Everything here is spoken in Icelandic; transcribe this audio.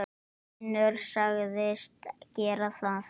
Finnur sagðist gera það.